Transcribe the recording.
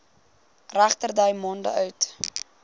regterdy maande oud